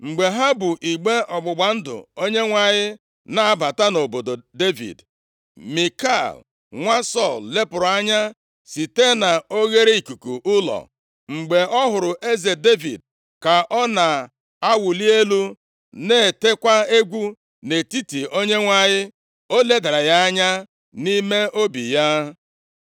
Mgbe ha bu igbe ọgbụgba ndụ Onyenwe anyị na-abata nʼobodo Devid, Mikal, nwa Sọl lepụrụ anya site na oghereikuku ụlọ. Mgbe ọ hụrụ eze Devid ka ọ na-awụli elu na-etekwa egwu nʼihu Onyenwe anyị, o ledara ya anya nʼime obi ya.